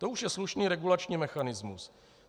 To už je slušný regulační mechanismus.